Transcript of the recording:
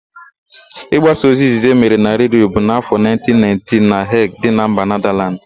Ị gbasa ozi izizi emere na Redio bụ n'áfọ 1919 na Heg dị na mba Nedalands.